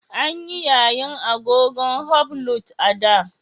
An yi yayin agogon hublot a da.